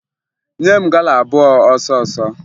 Nye m gala abụọ ọsọọsọ!